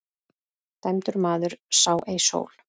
Dæmdur maður sá ei sól.